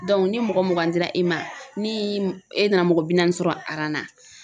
ni mɔgɔ mugan dira i ma ni e nana mɔgɔ bi naani sɔrɔ aran na